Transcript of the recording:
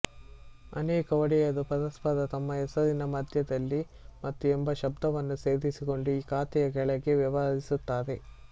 ಅನೇಕ ಒಡೆಯರು ಪರಸ್ಪರ ತಮ್ಮ ಹೆಸರಿನ ಮಧ್ಯದಲ್ಲಿ ಮತ್ತು ಎಂಬ ಶಬ್ದವನ್ನು ಸೇರಿಸಿಕೊಂಡು ಈ ಖಾತೆಯ ಕೆಳಗೆ ವ್ಯವಹರಿಸುತ್ತಾರೆ